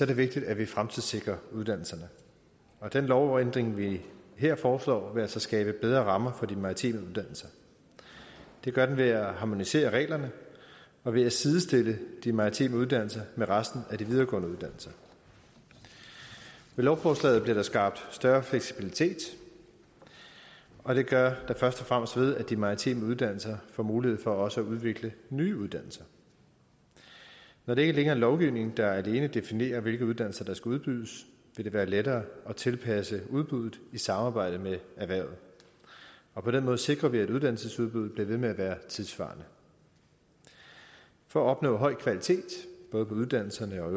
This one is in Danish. det vigtigt at vi fremtidssikrer uddannelserne den lovændring vi her foreslår vil altså skabe bedre rammer for de maritime uddannelser det gør den ved at harmonisere reglerne og ved at sidestille de maritime uddannelser med resten af de videregående uddannelser med lovforslaget bliver der skabt større fleksibilitet og det gør der først og fremmest ved at de maritime uddannelser får mulighed for også at udvikle nye uddannelser når det ikke længere er lovgivning der alene definerer hvilke uddannelser der skal udbydes vil det være lettere at tilpasse udbuddet i samarbejde med erhvervet og på den måde sikrer vi at uddannelsesudbuddet bliver ved med at være tidssvarende for at opnå høj kvalitet både på uddannelserne og